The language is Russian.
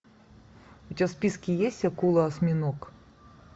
у тебя в списке есть акула осьминог